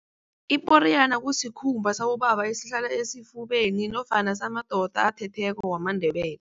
Iporiyana kusikhumba sabobaba esihlala esifubeni nofana samadoda athetheko wamaNdebele.